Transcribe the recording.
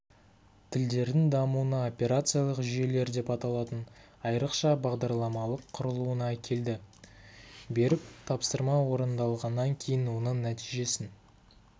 тілдердің дамуына операциялық жүйелер деп аталатын айрықша бағдарламалық құрылуына әкелді беріп тапсырма орындалғаннан кейін оның нәтижесін